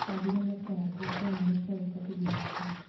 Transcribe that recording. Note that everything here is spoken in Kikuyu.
angĩ nĩmekĩraga nguo cia mwanya cia gũbatithio nacio